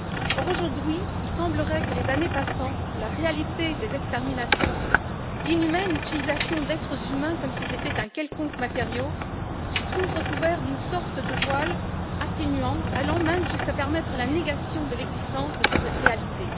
Or, aujourd'hui, il semblerait que, les années passant, la réalité des exterminations, l'inhumaine utilisation d'êtres humains, comme s'ils étaient un quelconque matériau, se trouve recouverte d'une sorte de voile atténuant, allant même jusqu'à permettre la négation de l'existence de ces réalités.